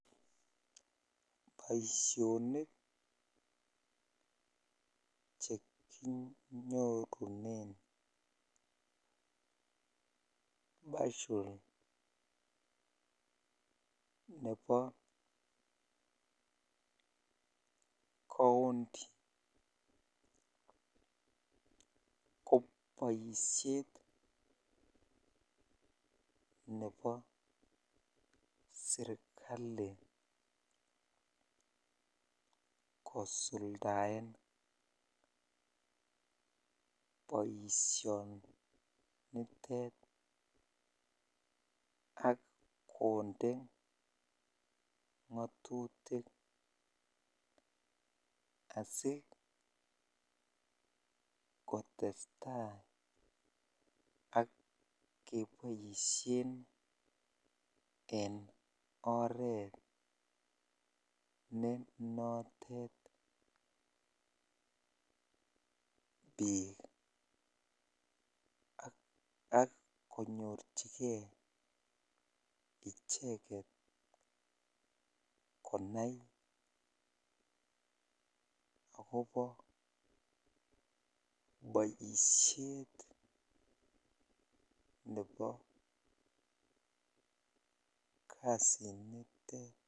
Boisjhonik chekinyorunen portal nebo county koboishet nebo serikali kosuldaen boishonitet ak konde ngotutik asikotesta ak keboishen en oreet ne notet biik ak konyorchike icheket konai akobo boishet nebo kasinitet.